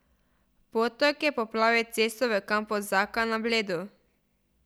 Potok je poplavil cesto v kampu Zaka na Bledu.